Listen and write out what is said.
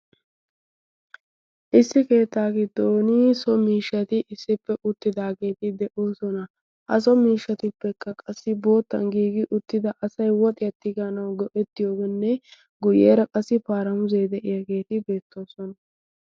issi keettaa giddon so miishshati issippe uttidaageeti de7oosona. ha so miishshatippekka qassi boottan giigi uttida asai woxiyattiganawu go7ettiyoogenne guyyeera qassi paaramusee de7iyaageeti beettoosona.